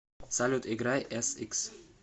салют играй эсикс